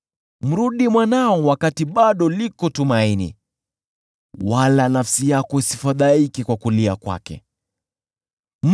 Mrudi mwanao, kwa maana katika hiyo kuna tumaini, usiwe mshirika katika mauti yake.